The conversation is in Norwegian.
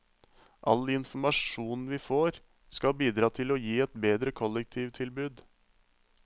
All informasjon vi får, skal bidra til å gi et bedre kollektivtilbud.